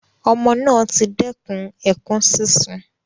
Ọmọ naa ti dẹkùn ẹkun sisùn